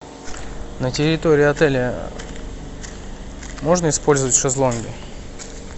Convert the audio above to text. на территории отеля можно использовать шезлонги